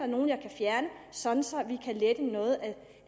nogle jeg kan fjerne sådan